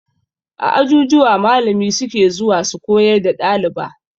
A ajujuwa malami suke zuwa su koyar da ɗaliba